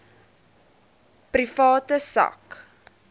private sak